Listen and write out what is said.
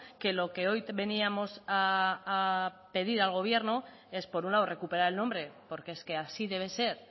que lo que hoy veníamos a pedir al gobierno es por un lado recuperar el nombre porque es que así debe ser